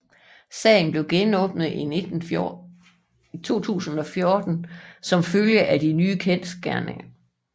Sagen blev genåbnet i 2014 som følge af de nye kendsgerninger